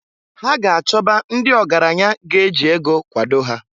Ha ga -achọba ndị ọgaranya ga-eji ego kwado ha.